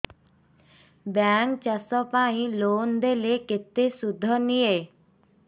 bank ଚାଷ ପାଇଁ loan ଦେଲେ କେତେ ସୁଧ ନିଏ